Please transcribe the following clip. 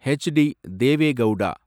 HD. Deve Gowda